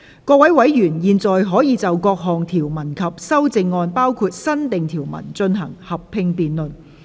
各位委員現在可以就各項條文及修正案，進行合併辯論。